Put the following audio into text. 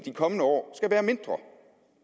kommende år skal være mindre